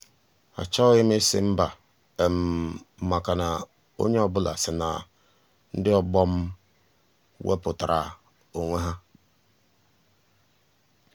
achọghị m ịsị mba um maka na onye ọ um bụla si na ndị ọgbọ m m wepụtara um onwe ha.